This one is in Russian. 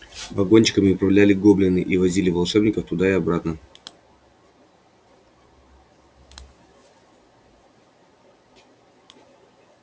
вагончиками управляли гоблины и возили волшебников туда и обратно